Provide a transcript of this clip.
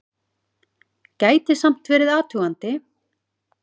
Gæti samt verið athugandi!